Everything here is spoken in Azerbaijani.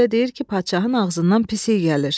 Kənarda belə deyir ki, padşahın ağzından pis iy gəlir.